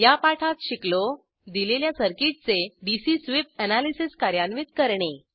या पाठात शिकलो दिलेल्या सर्किटचे डीसी स्वीप एनालिसिस कार्यान्वित करणे